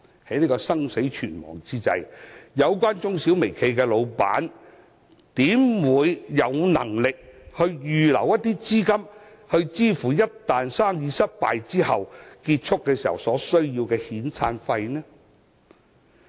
在這生死存亡之際，有關中小微企的老闆怎會有能力預留資金，支付一旦生意失敗後，結束業務所需要的遣散費呢？